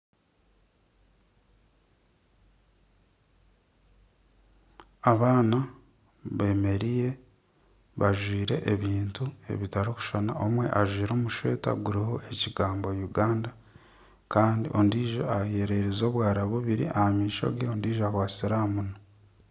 Abaana beemeriire, bajwire ebintu ebitarikushushana omwe ajwire omushweta oguriho ekigambo Uganda, kandi ondiijo eyererize obwara bubiri kandi ondiijo akwatsire aha munwa